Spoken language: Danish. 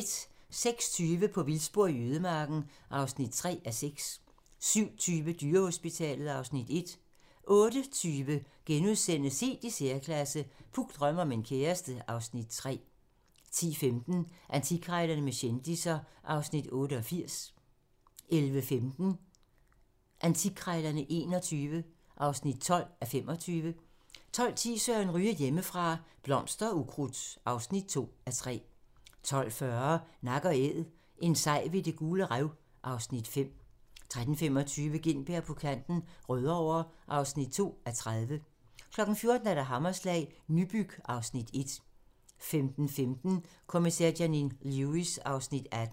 06:20: På vildspor i ødemarken (3:6) 07:20: Dyrehospitalet (Afs. 1) 08:20: Helt i særklasse - Puk drømmer om en kæreste (Afs. 3)* 10:15: Antikkrejlerne med kendisser (Afs. 88) 11:15: Antikkrejlerne XXI (12:25) 12:10: Søren Ryge: Hjemmefra - Blomster og ukrudt (2:3) 12:40: Nak & æd - en sej ved Det Gule Rev (Afs. 5) 13:25: Gintberg på kanten - Rødovre (2:30) 14:00: Hammerslag - Nybyg (Afs. 1) 15:15: Kommissær Janine Lewis (18:19)